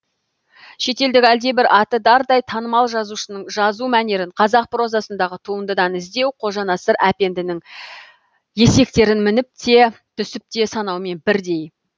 шетелдік әлдебір аты дардай танымал жазушының жазу мәнерін қазақ прозасындағы туындыдан іздеу қожанасыр әпенденің есектерін мініп те түсіп те санауымен бірдей